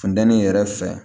Funtɛnin yɛrɛ fɛ